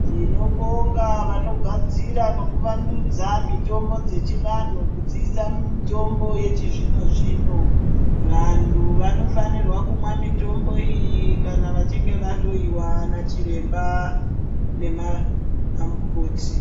Tinobonga vanogadzira nekuvandudza mitombo dzechivantu kudziisa mumitombo yechizvino zvino, vantu vanofanirwa kumwa mitombo iyi kana vachinge vahloyiwa nachiramba namukoti.